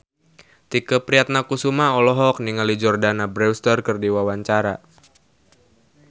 Tike Priatnakusuma olohok ningali Jordana Brewster keur diwawancara